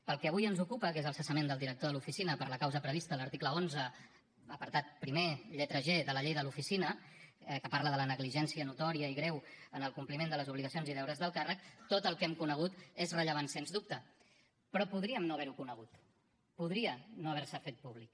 pel que avui ens ocupa que és el cessament del director de l’oficina per la causa prevista a l’article onze apartat primer lletra g de la llei de l’oficina que parla de la negligència notòria i greu en el compliment de les obligacions i deures del càrrec tot el que hem conegut és rellevant sens dubte però podríem no haver ho conegut podria no haver se fet públic